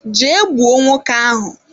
Jee gbuo nwoke ahụ!